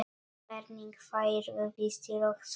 Hvernig færðu vistir og svona?